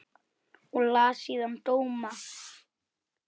Og las síðan dóma.